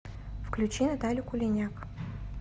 включи наталю кулиняк